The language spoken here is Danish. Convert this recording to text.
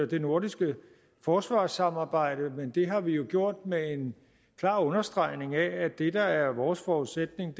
det nordiske forsvarssamarbejde men det har vi jo gjort med en klar understregning af at det der er vores forudsætning